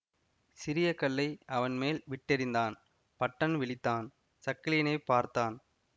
சிறிய கல்லை அவன் மேல் விட்டெறிந்தான் பட்டன் விழித்தான் சக்கிலியனைப் பார்த்தான்